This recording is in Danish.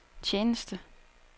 tjeneste